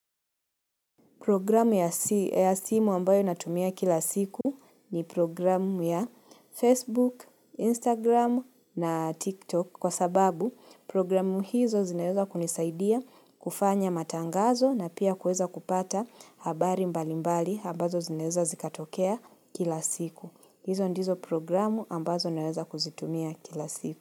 Programu ya simu ambayo natumia kila siku ni programu ya Facebook, Instagram na TikTok kwa sababu programu hizo zineweza kunisaidia kufanya matangazo na pia kuweza kupata habari mbali mbali ambazo zinaweza zikatokea kila siku. Hizo ndizo programu ambazo naweza kuzitumia kila siku.